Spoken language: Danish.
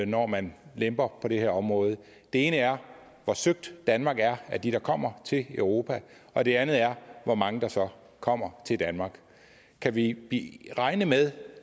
når man lemper på det her område det ene er hvor søgt danmark er af dem der kommer til europa og det andet er hvor mange der så kommer til danmark kan vi regne med